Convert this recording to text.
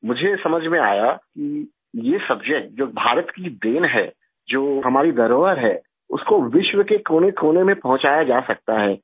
مجھے سمجھ میں آیا کہ یہ سبجیکٹ جو بھارت کی دین ہے، جو ہمارا خزانہ ہے اس کو دنیا کے کونے کونے میں پہنچایا جا سکتا ہے